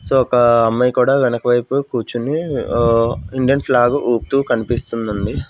So ఒక అమ్మాయి కూడా వెనక వైపు కూర్చుని ఇండియన్ ఫ్లాగ్ ఊపుతూ కనిపిస్తుందండి.